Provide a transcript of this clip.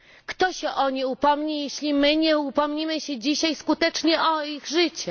Kto się o nie upomni, jeśli my nie upomnimy się dzisiaj skutecznie o ich życie?